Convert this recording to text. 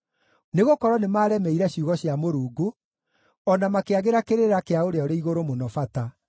nĩgũkorwo nĩmaremeire ciugo cia Mũrungu, o na makĩagĩra kĩrĩra kĩa Ũrĩa-ũrĩ-Igũrũ-Mũno bata.